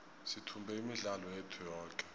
sithumbe imidlalo yethu yoke